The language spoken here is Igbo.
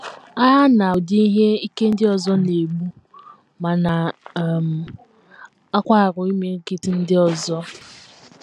Agha na ụdị ihe ike ndị ọzọ na - egbu ma na um - akwarụ imirikiti ndị ọzọ.